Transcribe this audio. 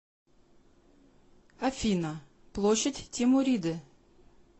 афина площадь тимуриды